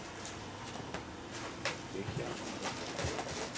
Ég hélt nú ekki.